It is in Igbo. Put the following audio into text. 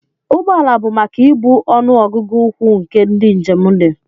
Ụgbọ ala bụ maka ibu ọnụ ọgụgụ ukwuu nke ndị njem dị